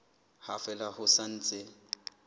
ha fela ho sa ntse